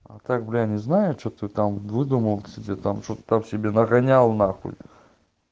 а так бля не знаю что ты там выдумал себе там что ты там себе нагонял нахуй